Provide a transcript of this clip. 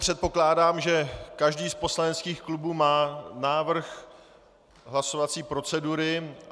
Předpokládám, že každý z poslaneckých klubů má návrh hlasovací procedury.